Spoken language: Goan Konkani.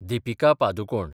दिपिका पादुकोण